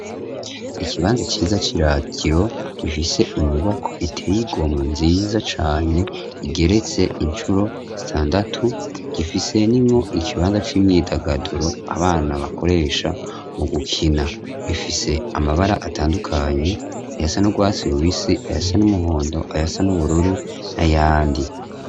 Ikibanza ciza c'iratiro gifise inyubakwa iteye igomwe nziza cane igeretse incuro zitandatu gifisemwo ikibanza c'imyidagaduro abana bakoresha mu gukina bifise amabara atandukanye ayasa n'urwasi rubisi, ayasa n'umuhondo, ayasa n'ubururu na yandi.